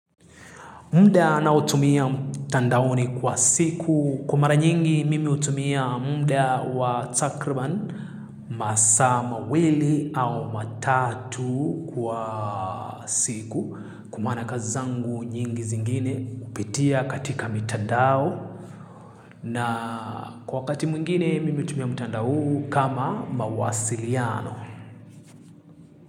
Muda ninaotumia mtandaoni kwa siku. Kwa mara nyingi mimi hutumia muda wa takribani masaa mawili au matatu kwa siku. Kwa maana kazi zangu nyingi zingine hupitia katika mtandao. Na kwa wakati mwingine mimi hutumia mtandao huu kama mawasiliano.